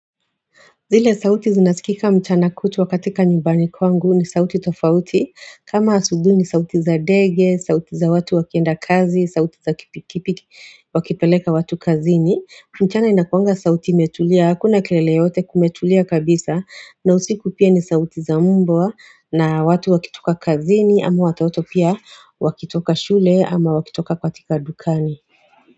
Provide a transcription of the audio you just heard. Zile sauti zinasikika mchana kutwa katika nyumbani kwangu ni sauti tofauti kama asubuhi ni sauti za ndege, sauti za watu wakienda kazi, sauti za kipikiki wakipeleka watu kazini. Mchana inakuanga sauti imetulia, hakuna kelele yoyote kumetulia kabisa na usiku pia ni sauti za mbwa na watu wakitoka kazini ama wataoto pia wakitoka shule ama wakitoka katika dukani.